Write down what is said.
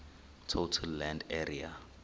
total land area